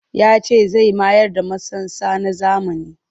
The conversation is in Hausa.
Ya ce zai mayar da masansa na zamani